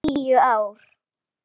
Tíu ár?